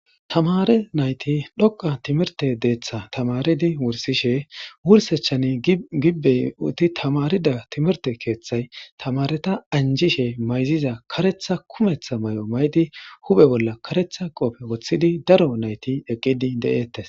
Tamare nayti dhoqa timirte deeththa tamaridi wursishe wursechani gibbey uti tamarida timirte keeththay tamareta anjishe mayziza karetha kumeththa may'o maydi hupe bolla karetha qoofe woththidi daro nayti eqqidi de'eettes.